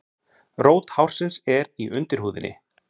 Rót hársins er í undirhúðinni.